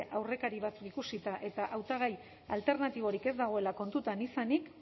aurrekari batzuk ikusita eta hautagai alternatiborik ez dagoela kontuan izanik